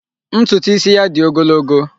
Ntutu isi ya dị ogologo.